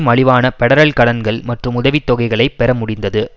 மலிவான பெடரல் கடன்கள் மற்றும் உதவி தொகைகளைப் பெற முடிந்தது